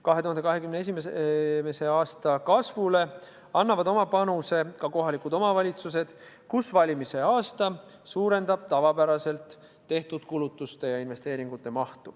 2021. aasta kasvu annavad oma panuse ka kohalikud omavalitsused, kus valimiste aasta suurendab tavapäraselt tehtud kulutuste ja investeeringute mahtu.